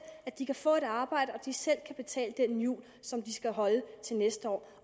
at de kan få et arbejde og at de selv kan betale den jul som de skal holde til næste år